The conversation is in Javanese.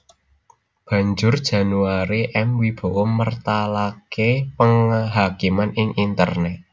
Banjur Janoary M Wibowo mertalaké Penghakiman ing internèt